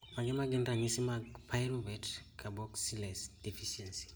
mage magin ranyisi mag Pyruvate carboxylase deficiency